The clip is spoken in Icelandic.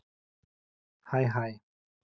Hæ hæ!